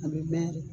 A bɛ mɛn yɛrɛ